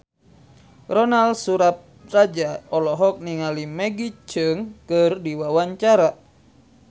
Ronal Surapradja olohok ningali Maggie Cheung keur diwawancara